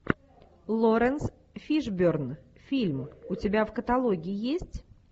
лоренс фишберн фильм у тебя в каталоге есть